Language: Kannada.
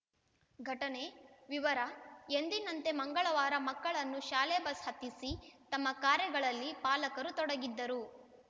ಘಟನೆ ವಿವರ ಎಂದಿನಂತೆ ಮಂಗಳವಾರ ಮಕ್ಕಳನ್ನು ಶಾಲೆ ಬಸ್‌ ಹತ್ತಿಸಿ ತಮ್ಮ ಕಾರ್ಯಗಳಲ್ಲಿ ಪಾಲಕರು ತೊಡಗಿದ್ದರು